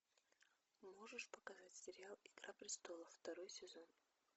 можешь показать сериал игра престолов второй сезон